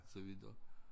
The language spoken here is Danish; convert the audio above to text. Så videre